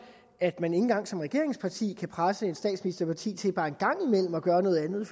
at man ikke engang som regeringsparti kan presse et statsministerparti til bare en gang imellem at gøre noget andet